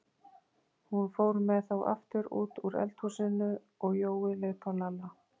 Hún fór með þá aftur út úr eldhúsinu og Jói leit á Lalla.